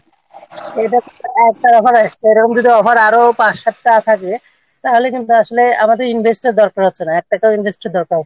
হ্যাঁ এটা একবার আমার Expert এরকম যদি আবার আরো পাঁচ সাতটা আসতে থাকে তাহলে কিন্তু আসলে আমাদের Invest-র দরকার হচ্ছে না এক টাকাও Invest-র দরকার হচ্ছে না